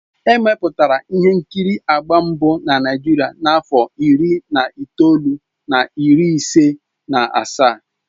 Emepụtara ihe nkiri agba mbụ na Naịjirịa na afọ iri na itoolu na iri ise na asaa.